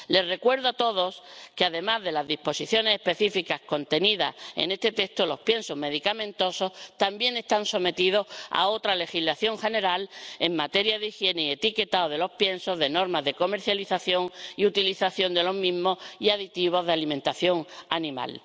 Les recuerdo a todos que, además de a las disposiciones específicas contenidas en este texto, los piensos medicamentosos también están sometidos a otra legislación general en materia de higiene y etiquetado de los piensos, de normas de comercialización y utilización de los mismos y de aditivos en la alimentación animal.